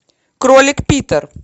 кролик питер